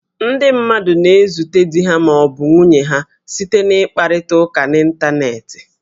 Ndị mmadụ na-ezute di ha ma ọ bụ nwunye ha site n' ịkparịta ụka n'Ịntaneetị